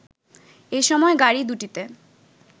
এ সময় গাড়ি দুটিতে